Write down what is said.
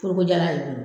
Foroko jalan ye